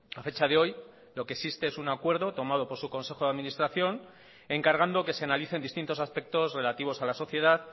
a fecha de hoy lo que existe es un acuerdo tomado por su consejo de administración encargando que se analicen distintos aspectos relativos a la sociedad